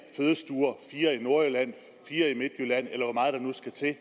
fødestuer fire i nordjylland fire i midtjylland eller hvor meget der nu skal til